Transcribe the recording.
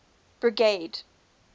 brigade